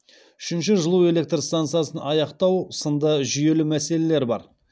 үшінші жылу электр стансасын аяқтау сынды жүйелі мәселелер бар